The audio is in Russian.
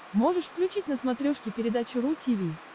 можешь включить на смотрешке передачу ру ти ви